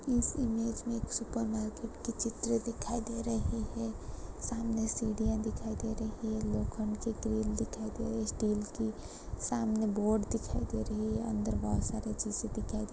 इस इमेंज में एक सुपर मार्केट की चित्र दिखाई दे रही है सामने सीढिया दिखाई दे रही है लोखंड की ग्रिल दिखाई दे रही है स्टील की सामने बोर्ड दिखाई दे रही है अंदर बहुत सारी चीज़े दिखाई दे --